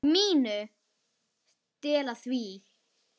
MÍNU. Stela því?